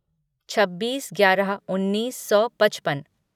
छब्बीस ग्यारह उन्नीस सौ पचपन